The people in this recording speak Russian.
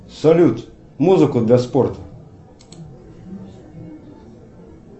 салют музыку для спорта